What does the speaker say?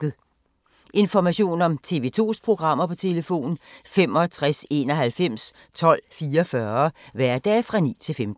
Information om TV 2's programmer: 65 91 12 44, hverdage 9-15.